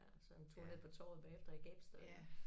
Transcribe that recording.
Ja og så en tur ned på torvet bagefter i gabestokken